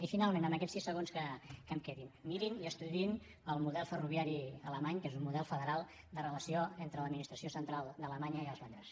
i finalment en aquests sis segons que em queden mirin i estudiïn el model ferroviari alemany que és un model federal de relació entre l’administració central d’alemanya i els lands